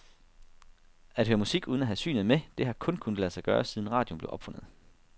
At høre musik, uden at have synet med, det har kun kunnet lade sig gøre, siden radioen blev opfundet.